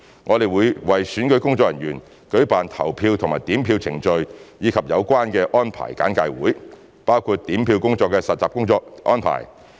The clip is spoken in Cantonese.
我們會為選舉工作人員舉辦投票和點票程序及有關安排的簡介會，包括點票工作的實習安排。